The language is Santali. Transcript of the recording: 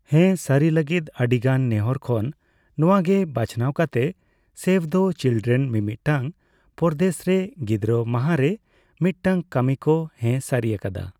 ᱦᱮᱸ ᱥᱟᱹᱨᱤ ᱞᱟᱹᱜᱤᱫ ᱟᱹᱰᱤ ᱜᱟᱱ ᱱᱮᱸᱦᱚᱨ ᱠᱷᱚᱱ ᱱᱚᱣᱟ ᱜᱮ ᱵᱟᱪᱷᱱᱟᱣ ᱠᱟᱛᱮ ᱥᱮᱵᱷ ᱫᱟ ᱪᱤᱞᱰᱮᱨᱮᱱ ᱢᱤᱼᱢᱤᱫᱴᱟᱝ ᱯᱚᱨᱚᱫᱮᱥ ᱨᱮ ᱜᱤᱫᱽᱨᱟᱹ ᱢᱟᱦᱟᱨᱮ ᱢᱤᱫᱴᱟᱝ ᱠᱟᱹᱢᱤ ᱠᱚ ᱦᱮᱸ ᱥᱟᱹᱨᱤ ᱟᱠᱟᱫᱟ ᱾